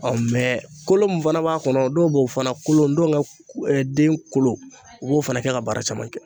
kolo min fana b'a kɔnɔ dɔw b'o fana kolo, ndɔnkɛ den kolo u. b'o fana kɛ ka baara caman kɛ.